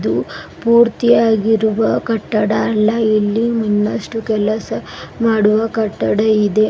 ಹಾಗು ಪೂರ್ತಿಯಾಗಿರುವ ಕಟ್ಟಡ ಅಲ್ಲ ಇಲ್ಲಿ ಇನ್ನಷ್ಟು ಕೆಲಸ ಮಾಡುವ ಕಟ್ಟಡ ಇದೆ.